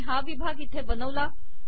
मी हा विभाग इथे बनवला